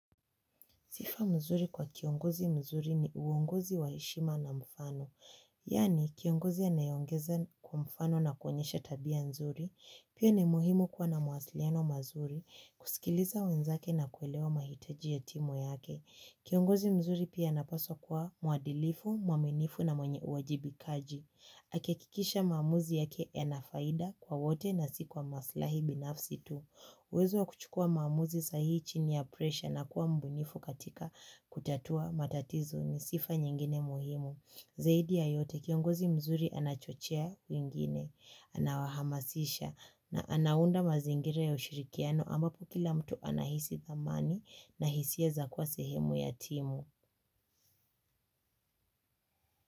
Sifa mzuri kwa kiongozi mzuri ni uongozi waheshima na mfano. Yani, kiongozi anayeongeza kwa mfano na kuonyesha tabia nzuri, pia ni muhimu kuwa na mawasiliano mazuri, kusikiliza wenzake na kuelewa mahitaji ya timu yake. Kiongozi mzuri pia anapaswa kuwa muadilifu, mwaminifu na mwenye uwajibikaji. Akihakikisha maamuzi yake yana faida kwa wote na si kwa maslahi binafsi tu. Uwezo wa kuchukuwa maamuzi sahihi chini ya presha na kuwa mbunifu katika kutatua matatizo ni sifa nyingine muhimu. Zaidi ya yote kiongozi mzuri anachochea wingine, anawahamasisha na anaunda mazingira ya ushirikiano ambapo kila mtu anahisi thamani na hisia za kuwa sehemu ya timu.